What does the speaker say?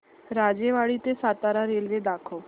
राजेवाडी ते सातारा रेल्वे दाखव